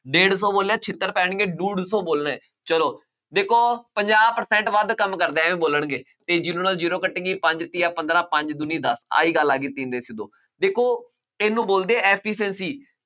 ਡੇਢ ਸੌ ਬੋਲਿਆ ਛਿੱਤਰ ਪੈਣਗੇ, ਡੂਢ ਸੌ ਬੋਲਣਾ, ਚੱਲੋ ਦੇਖੋ ਪੰਜਾਹ percent ਵੱਧ ਕੰਮ ਕਰਦਾ ਹੈ, ਐਵੇਂ ਬੋਲਣਗੇ, ਇਹ zero ਨਾਲ zero ਕੱਟ ਗਈ, ਪੰਜ ਤੀਆ ਪੰਦਰਾਂ, ਪੰਜ ਦੂਣੀ ਦੱਸ, ਆਹੀ ਗੱਲ ਆ ਗਈ ਤਿੰਨ ਹਿੱਸੇ ਦੋ, ਦੇਖੋ ਇਹਨੂੰ ਬੋਲਦੇ ਆ efficiency